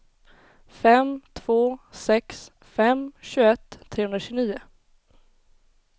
fem två sex fem tjugoett trehundratjugonio